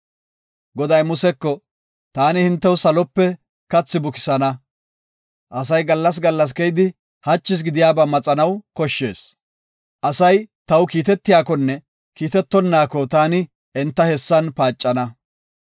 Goday Museko, “Taani hintew salope kathi buksana. Asay gallas gallas keyidi, hachis gidiyaba maxanaw koshshees. Asay taw kiitetiyakonne kiitetonaako taani enta hessan paacana.